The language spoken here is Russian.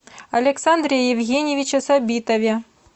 александре евгеньевиче сабитове